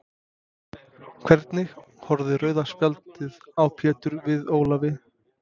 Hvernig horfði rauða spjaldið á Pétur við Ólafi?